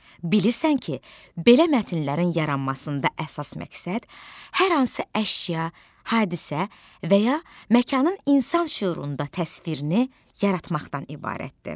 Bilirsən ki, belə mətnlərin yaranmasında əsas məqsəd hər hansı əşya, hadisə və ya məkanın insan şüurunda təsvirini yaratmaqdan ibarətdir.